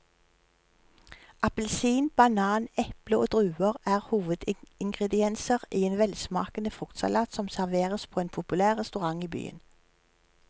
Appelsin, banan, eple og druer er hovedingredienser i en velsmakende fruktsalat som serveres på en populær restaurant i byen.